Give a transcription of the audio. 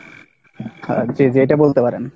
হ্যাঁ, জি-জি এইটা বলতে পারেন।